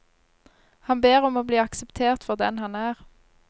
Han ber om å bli akseptert for den han er.